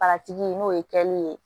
n'o ye kɛli ye